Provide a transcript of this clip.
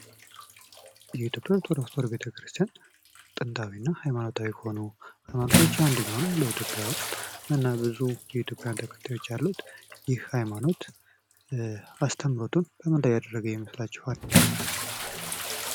የኢትዮጵያ ኦርቶዶክስ ተዋህዶ ቤተክርስቲያን ጥንታዊና ሀይማኖታዊ ከሆኑ ሀይማኖቶች ውስጥ አንደኛው ነው። በኢትዮጵያ ውስጥ እና ብዙ የኢትዮጵያ ተከታዮች አሉት። እና ይህ ሀይማኖት አስተምሮቱን በምን ላይ ያደረገ ይመስላችኋል?